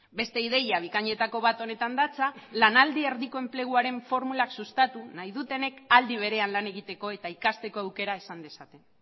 beste ideia bikainetako bat honetan datza lanaldi erdiko enpleguaren formulak sustatu nahi dutenek aldi berean lan egiteko eta ikasteko aukera izan dezaten